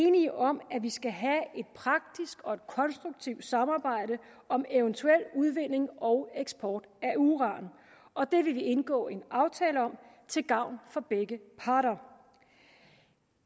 enige om at vi skal have et praktisk og konstruktivt samarbejde om eventuel udvinding og eksport af uran og det vil vi indgå en aftale om til gavn for begge parter